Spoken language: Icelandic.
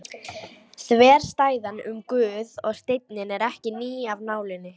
Þverstæðan um Guð og steininn er ekki ný af nálinni.